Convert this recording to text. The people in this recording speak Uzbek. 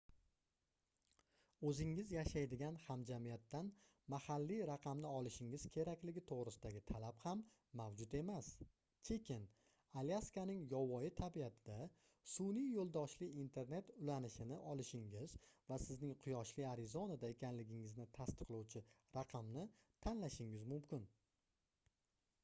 oʻzingiz yashaydigan hamjamiyatdan mahalliy raqamni olishingiz kerakligi toʻgʻrisidagi talab ham mavjud emas chiken alyaskaning yovvoyi tabiatida sunʼiy yoʻldoshli internet ulanishini olishingiz va sizning quyoshli arizonada ekanligingizni tasdiqlovchi raqamni tanlashingiz mumkin